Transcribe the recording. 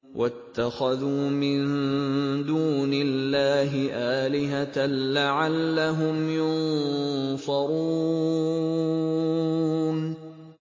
وَاتَّخَذُوا مِن دُونِ اللَّهِ آلِهَةً لَّعَلَّهُمْ يُنصَرُونَ